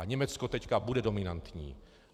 A Německo teď bude dominantní.